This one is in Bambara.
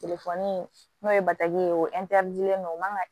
Telefoni in n'o ye batigi ye o o man ka